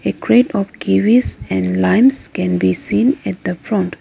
A crate of kiwis and limes can be seen at the front.